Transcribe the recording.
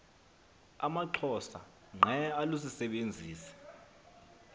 amaxhosa ngqe alusisebenzisi